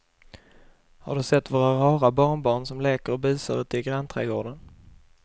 Har du sett våra rara barnbarn som leker och busar ute i grannträdgården!